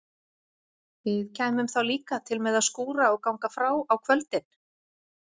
Við kæmum þá líka til með að skúra og ganga frá á kvöldin?